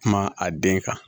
Kuma a den kan